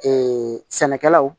sɛnɛkɛlaw